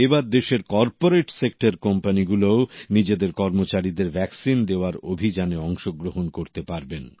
এবার দেশের corporate sector কোম্পানিগুলোও নিজেদের কর্মচারীদের ভ্যাকসিন দেওয়ার অভিযানে অংশগ্রহণ করতে পারবেন